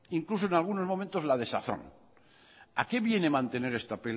incluso en algunos momentos la desazón a qué viene mantener esta